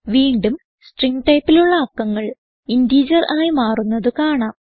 വീണ്ടും സ്ട്രിംഗ് ടൈപ്പിലുള്ള അക്കങ്ങൾ ഇന്റിജർ ആയി മാറുന്നത് കാണാം